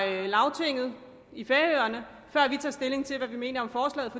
lagtinget i færøerne før vi tager stilling til hvad vi mener om forslaget